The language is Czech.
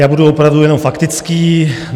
Já budu opravdu jenom faktický.